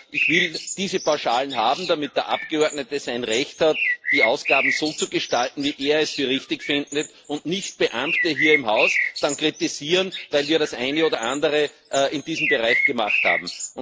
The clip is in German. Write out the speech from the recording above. Ich will diese Pauschalen haben, damit der Abgeordnete sein Recht hat, die Ausgaben so zu gestalten, wie er es für richtig findet, und nicht Beamte hier im Haus dann kritisieren, weil wir das eine oder andere in diesem Bereich gemacht haben.